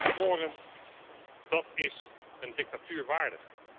smorend, dat is een dictatuur waardig.